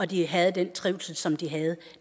de havde den trivsel som de havde